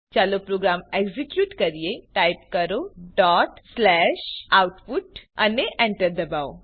ચાલો program execute કરીએ type કરો output ડોટ સ્લેશ આઉટપુટ અને Enter દબાવો